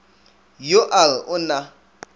yo a re o na